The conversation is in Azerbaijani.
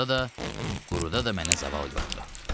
Suda da, quruda da mənə zaval yoxdur.